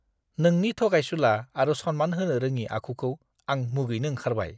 नोंनि थगायसुला आरो सनमान होनो रोङि आखुखौ आं मुगैनो ओंखारबाय।